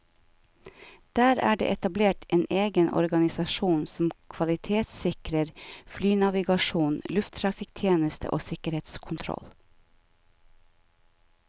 Der er det etablert en egen organisasjon som kvalitetssikrer flynavigasjon, lufttrafikktjeneste og sikkerhetskontroll.